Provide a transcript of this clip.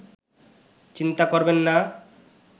চিন্তা করবেন না